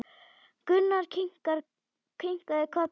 Gunnar kinkaði kolli.